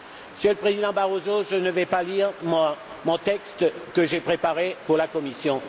Monsieur le Président Barroso, je ne vais pas lire le texte que j'avais préparé pour la Commission.